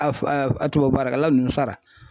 A fo a tubabu baarakɛla nunnu sara